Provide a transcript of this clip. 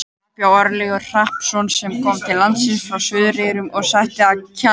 Þar bjó Örlygur Hrappsson sem kom til landsins frá Suðureyjum og settist að á Kjalarnesi.